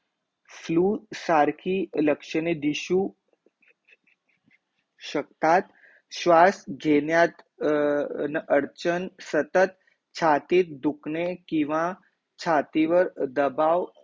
flu सारखी लक्षणे दिशु शकतात, श्वास घेण्यात न अडचण सतत छातीत दुखणे किंवा छातीवर दबाव